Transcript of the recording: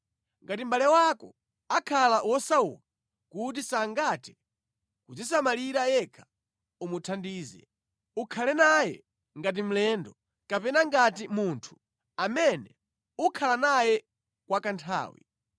“ ‘Ngati mʼbale wako akhala wosauka kuti sangathe kudzisamalira yekha, umuthandize. Ukhale naye ngati mlendo kapena ngati munthu amene ukhala naye kwa kanthawi.